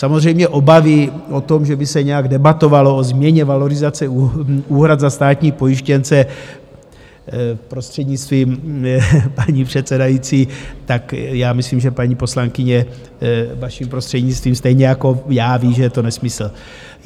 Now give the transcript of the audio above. Samozřejmě obavy o to, že by se nějak debatovalo o změně valorizace úhrad za státní pojištěnce, prostřednictvím paní předsedající, tak já myslím, že paní poslankyně, vaším prostřednictvím, stejně jako já ví, že je to nesmysl.